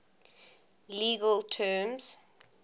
legal terms